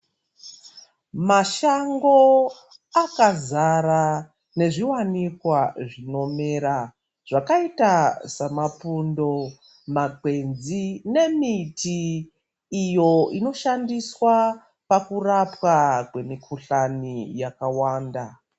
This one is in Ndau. Mashango akazara nezviwanikwa zvinomera zvakaita samapundo, makwenzi nemiti iyo inoshandiswa pakurapwa kwemikuhlani yakawanda.